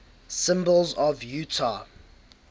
symbols of utah